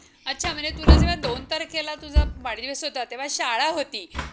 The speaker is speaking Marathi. अच्छा म्हणजे तुला जेव्हा दोन तारखेला तुझा वाढदिवस होता तेव्हा शाळा होती